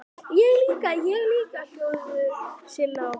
Ég líka, ég líka!!! hljóðuðu Silla og Palla.